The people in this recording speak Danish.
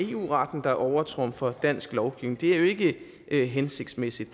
eu retten der overtrumfer dansk lovgivning det er jo ikke hensigtsmæssigt